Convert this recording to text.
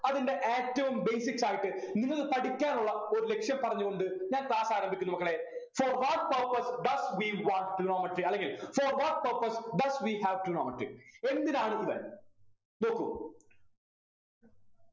അതിൻ്റെ ഏറ്റവും basics ആയിട്ട് നിങ്ങള് പഠിക്കാനുള്ള ഒരു ലക്‌ഷ്യം പറഞ്ഞു കൊണ്ട് ഞാൻ class ആരംഭിക്കുന്നു മക്കളെ for what purpose does we want trigonometry അല്ലെങ്കിൽ for what purpose does we have trigonometry എന്തിനാണ് ഇവൻ നോക്കു